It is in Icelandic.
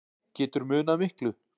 Getur munað miklu